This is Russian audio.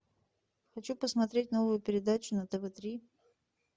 хочу посмотреть новую передачу на тв три